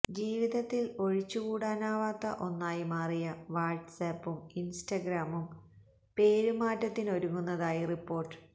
ജീവിതത്തിൽ ഒഴിച്ചു കൂടാനാകാത്ത ഒന്നായി മാറിയ വാട്സ്ആപ്പും ഇന്സ്റ്റഗ്രാമും പേരുമാറ്റത്തിനൊരുങ്ങുന്നതായി റിപ്പോർട്ട്